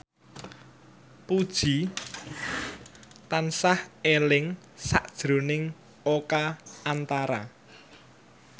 Puji tansah eling sakjroning Oka Antara